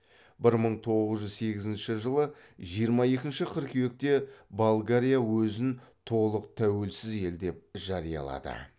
бір мың тоғыз жүз сегізінші жылы жиырма екінші қыркүйекте болгария өзін толық тәуелсіз ел деп жариялады